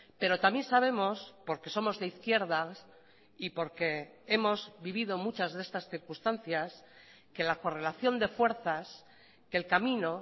pero también sabemos porque somos de izquierdas y porque hemos vivido muchas de estas circunstancias que la correlación de fuerzas que el camino